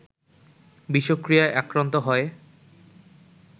বিষক্রিয়ায় আক্রান্ত হয়